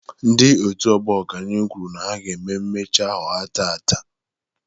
Ndị otu ọgbọ ọganihu kwuru na ha ga mmemme imechi ahọ ha taata.